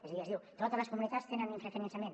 és a dir es diu totes les comunitats tenen un infrafinançament